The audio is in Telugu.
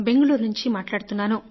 బెంగళూరు నుండి మాట్లాడుతున్నాను